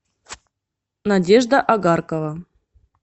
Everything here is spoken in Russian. надежда огаркова